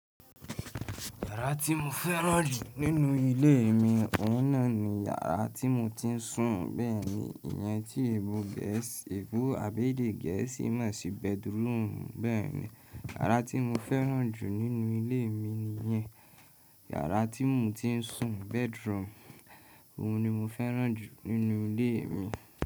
Yàrá tí mo fẹ́ràn jù nínú ilé mi oun na ni yàrá tí mo ti ń sùn. Bẹ́ẹ̀ni, ìyẹn tí èbó geesi ebo àbẹ́dẹ gẹ̀ẹ́sì mọ̀ sí bedroom. Bẹ́ẹ̀ni, yàrá tí mo fẹ́ràn jù nínú ilé mi ni yẹn. Yàrá tí mo ti ń sùn, bedroom, òun ni mo fẹ́ràn jù nínú ilé mi.